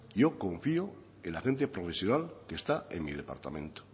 yo confío en la gente profesional que está en mi departamento